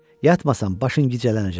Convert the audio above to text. Yatmasan, başın gicəllənəcək.